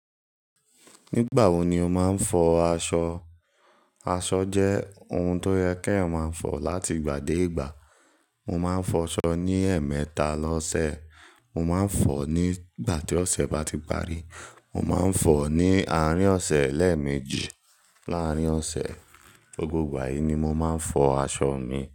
Nígbà wo ni o máa ń fọ aṣọ? Aṣọ jẹ́ ohun tó yẹ kí èèyàn máa fọ láti ìgbà dé ìgbà. Mo máa ń fọṣọ ní ẹ̀ẹ̀mẹta lọ́sẹ̀, mo máa ń fọ ní ìgbà tí ọ̀sẹ̀ bá ti parí, mo máa ń fọ ní àárín ọ̀sẹ̀ lẹ́ẹ̀meji láàárín ọ̀sẹ̀. Gbogbo ìgbà yìí ni mo máa ń fọ aṣọ mi.